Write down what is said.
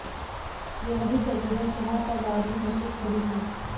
यह वही जगह है जहाँ पर बाबरी मसजिद खड़ी थी